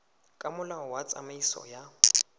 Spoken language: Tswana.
ka molao wa tsamaiso ya